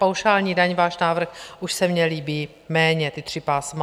Paušální daň, váš návrh už se mi líbí méně, ta tři pásma.